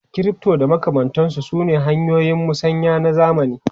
Crypto da makamantansu sune hanyoyin musanya na zamani.